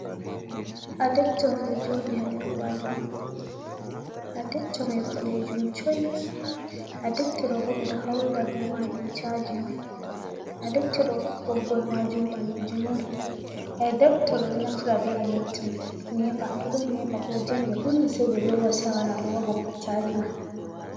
Adepto on ɗo joɗi ha nɗer kwali mum, adepto mai boɗejum choi, adepto ɗo bo ɓeɗo haurira be majum chaji on adepto ɗo boggol majum ɓalejum on, adepto do ɗo naftira be electric nepa to don nepa ko janbe kuni sei ɓe lowa se awara alowa boggi chaji ma.